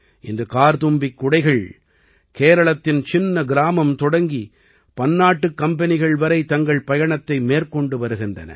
இன்று கார்த்தும்பி குடைகள் கேரளத்தின் சின்ன கிராமம் தொடங்கி பன்னாட்டுக் கம்பெனிகள் வரை தங்கள் பயணத்தை மேற்கொண்டு வருகின்றன